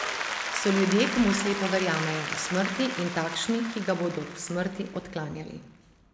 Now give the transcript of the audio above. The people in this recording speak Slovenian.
So ljudje, ki mu slepo verjamejo do smrti in takšni, ki ga bodo do smrti odklanjali.